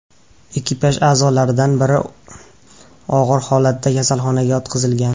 Ekipaj a’zolaridan biri og‘ir holatda kasalxonaga yotqizilgan.